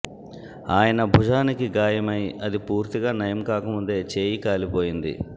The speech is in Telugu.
ఆయన భుజానికి గాయమై అది పూర్తిగా నయంకాక ముందే చేయి కాలిపోయింది